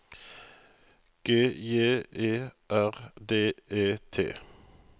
G J E R D E T